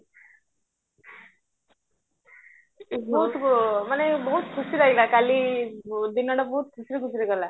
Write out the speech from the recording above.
ବହୁତ ମାନ ବହୁତ ଖୁସି ଲାଗିଲା କାଲି ଦିନଟା ବହୁତ ଖୁସିରେ ଖୁସିରେ ଗଲା